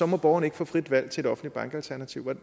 må borgerne ikke få frit valg til et offentligt bankalternativ